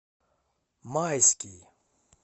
майский